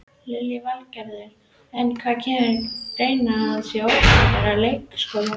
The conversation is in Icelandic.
Lillý Valgerður: En kemur til greina að skerða opnunartíma leikskólana?